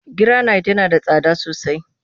Giranayit yana da tsada sosai